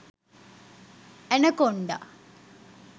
anaconda